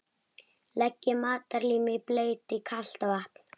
Leggið matarlímið í bleyti í kalt vatn.